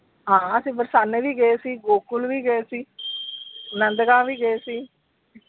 ਹਾਂ ਤੇ ਬਰਸਾਨੇ ਵੀ ਗਏ ਸੀ, ਗੋਕੁਲ ਵੀ ਗਏ ਸੀ, ਨੰਦ ਗਾਵ ਵੀ ਗਏ ਸੀ।